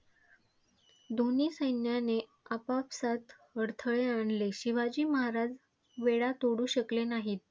दोन्ही सैन्याने आपापसात अडथळे आणले, शिवाजी महाराज वेढा तोडू शकले नाहीत.